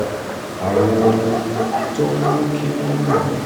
àwọn ohun tó ń mú kí wọ́n mọ̀wọ̀n